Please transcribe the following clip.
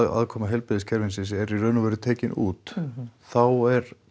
aðkoma heilbrigðiskerfisins er í raun og veru tekin út þá